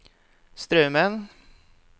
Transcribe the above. Straumen